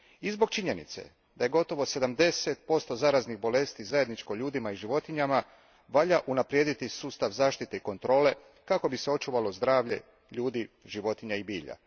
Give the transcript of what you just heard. I zbog činjenice da je gotovo sedamdeset posto zaraznih bolesti zajedničko ljudima i životinjama, valja unaprijediti sustav zaštite i kontrole kako bi se očuvalo zdravlje ljudi, životinja i bilja.